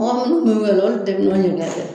Mɔgɔ minnu ni minnu be yen nɔ olu bɛɛ be ɲɔgɔn ɲininka kɛ